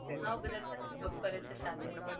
હા બધા ત્યાંજ job કરે છે સાથે.